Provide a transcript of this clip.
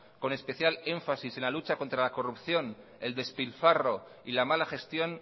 con especial énfasis en la lucha contra la corrupción el despilfarro y la mala gestión